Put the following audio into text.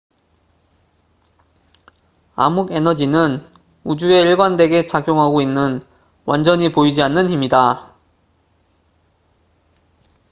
암흑에너지는 우주에 일관되게 작용하고 있는 완전히 보이지 않는 힘이다